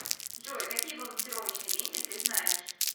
джой какие балансировочный вентиль ты знаешь